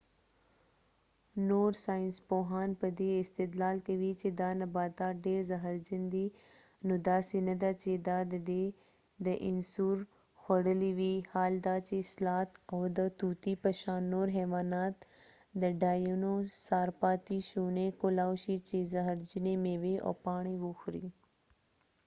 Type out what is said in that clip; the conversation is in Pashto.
نور ساینسپوهان په دي استدلال کوي چې دا نباتات ډیر زهر جن دي ، نو داسې نه ده چې دا دي داینوسور خوړلی وي حال دا چې سلات او د طوطی په شان نور حیوانات د ډاینو سار پاتی شونی کولای شي چې زهرجنی میوې او پاڼی وخوری